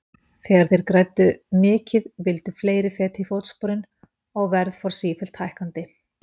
Þegar þeir fyrstu græddu mikið vildu fleiri feta í fótsporin og verð fór sífellt hækkandi.